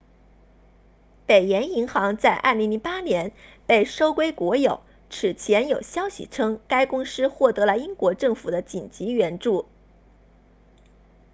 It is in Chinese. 北岩银行在2008年被收归国有此前有消息称该公司获得了英国政府的紧急援助